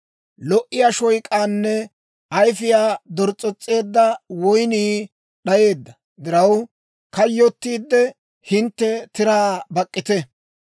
Lo"iyaa shoyk'aynne ayfiyaa dors's'os's'eedda woynnii d'ayeedda diraw, kayyottiidde, hintte tiraa bak'k'ite.